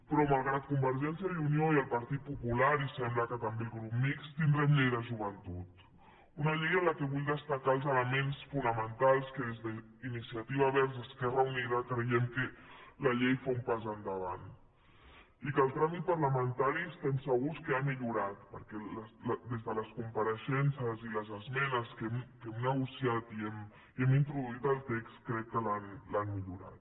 però malgrat convergència i unió i el partit popular i sembla que també el grup mixt tindrem llei de joventut una llei en què vull destacar els elements fonamentals amb què des d’iniciativa verds esquerra unida creiem que la llei fa un pas endavant i que el tràmit parlamentari estem segurs que ha millorat perquè les compareixences i les esmenes que hem negociat i hem introduït al text crec que l’han millorat